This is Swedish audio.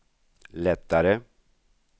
lättare